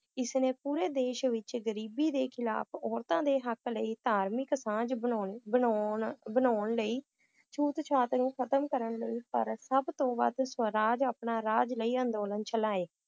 ਇਸਨੇ ਪੂਰੇ ਦੇਸ਼ ਵਿਚ ਗਰੀਬੀ ਦੇ ਖਿਲਾਫ ਔਰਤਾਂ ਦੇ ਹਕ ਲਈ ਧਾਰਮਿਕ ਸਾਂਝ ਬਣਾਉਣ, ਬਣਾਉਣ ਬਣਾਉਣ ਲਈ ਛੂਤ-ਛਾਤ ਨੂੰ ਖਤਮ ਕਰਨ ਲਈ ਸਬ ਤੋਂ ਵੱਧ ਸਵਰਾਜ ਆਪਣਾ ਰਾਜ ਲਈ ਅੰਦੋਲਨ ਚਲਾਏ